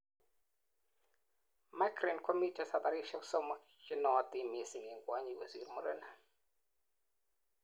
migraine komiten sabarishek somok chenootin missing en kwonyik kosir murenik